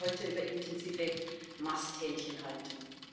Wir sprechen heute über intensive Masthähnchenhaltung.